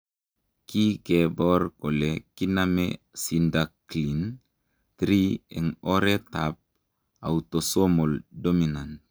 Kikebor kole kiname Syndactyly 3 eng oretab autosomal dominant.